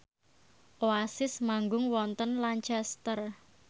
Oasis manggung wonten Lancaster